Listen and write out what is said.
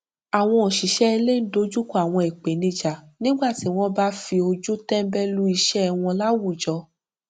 àwọn òṣìṣẹ ilé n dojúkọ àwọn ìpènijà nígbà tí wọn bá fi ojú tẹnbẹlú iṣẹ wọn láwùjọ